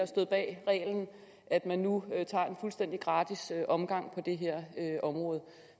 stået bag reglen at man nu tager en fuldstændig gratis omgang på det her område